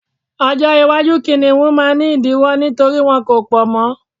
ọjọ iwaju kiniun ma ni idiwọ nítorí wọn ko pọ mọ